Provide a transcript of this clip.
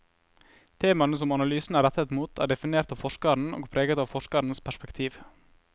Temaene som analysen er rettet mot, er definert av forskeren og preget av forskerens perspektiv.